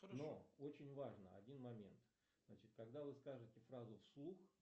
но очень важно один момент значит когдавы скажете фразу в слух